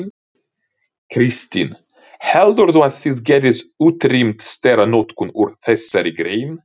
Kristinn: Heldurðu að þið getið útrýmt steranotkun úr þessari grein?